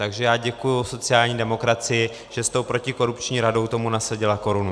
Takže já děkuji sociální demokracii, že s tou protikorupční radou tomu nasadila korunu.